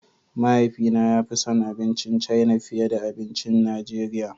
Mahaifina ya fi son abincin China fiye da abincin Najeriya.